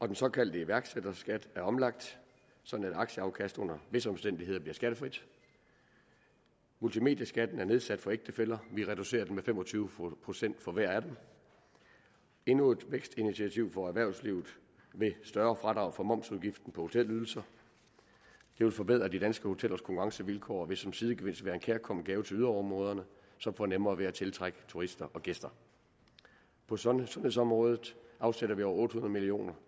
den såkaldte iværksætterskat er omlagt sådan at et aktieafkast under visse omstændigheder bliver skattefrit multimedieskatten er nedsat for ægtefæller vi reducerer den med fem og tyve procent for hver af dem endnu et vækstinitiativ for erhvervslivet er et større fradrag for momsudgiften på hotelydelser det vil forbedre de danske hotellers konkurrencevilkår og vil som sidegevinst være en kærkommen gave til yderområderne som får nemmere ved at tiltrække turister og gæster på sundhedsområdet afsætter vi over otte hundrede million